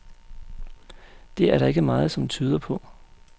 Det er der ikke meget, som tyder på.